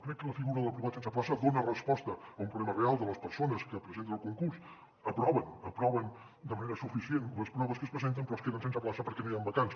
crec que la figura de l’aprovat sense plaça dona resposta a un problema real de les persones que es presenten al concurs aproven aproven de manera suficient les proves a què es presenten però es queden sense plaça perquè no hi han vacants